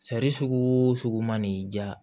Sari sugu o sugu man n'i ja